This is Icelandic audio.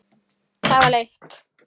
Það var leitt.